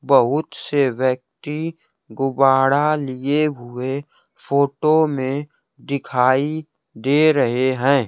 बहुत से व्यक्ति गुब्बारा लिए हुए फोटो में दिखाई दे रहे हैं।